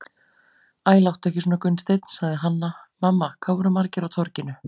Æ, láttu ekki svona Gunnsteinn, sagði Hanna-Mamma,- hvað voru margir á Torginu?